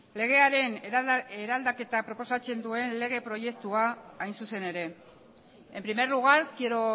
legearen eraldaketa proposatzen duen lege proiektua hain zuzen ere en primer lugar quiero